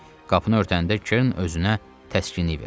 Qapını örtəndə Kern özünə təskinlik verdi.